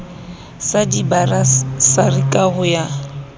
sa dibasari ka ho ya